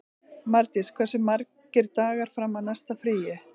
Mardís, hversu margir dagar fram að næsta fríi?